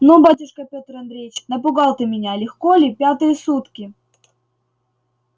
ну батюшка пётр андреич напугал ты меня легко ли пятые сутки